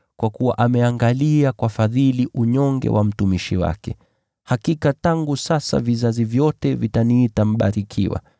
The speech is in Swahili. kwa kuwa ameangalia kwa fadhili unyonge wa mtumishi wake. Hakika tangu sasa vizazi vyote vitaniita aliyebarikiwa,